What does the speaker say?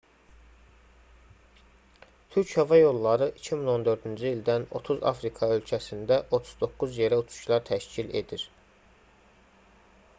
türk hava yolları 2014-cü ildən 30 afrika ölkəsində 39 yerə uçuşlar təşkil edir